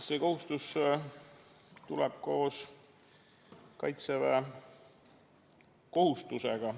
See kohustus tuleb koos kaitseväekohustusega.